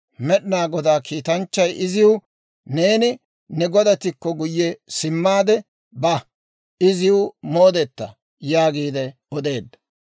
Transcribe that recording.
Med'inaa Godaa kiitanchchay iziw, «Neeni ne godattikko guyye simmaade ba; iziw moodeta» yaagiide odeedda.